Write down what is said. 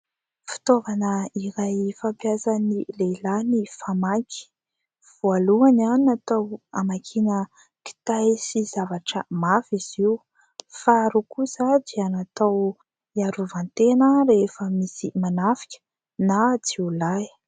Fitaovana iray fampiasan'ny lehilahy ny famaky. Voalohany, natao amakiana kitay sy zavatra mafy izy io. Faharoa kosa dia natao hiarovan-tena rehefa misy manafika na jiolahy.